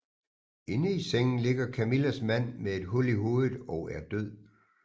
Inde i sengen ligger Camillas mand med et hul i hovedet og er død